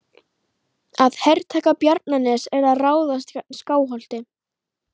Að hertaka Bjarnanes er að ráðast gegn Skálholti.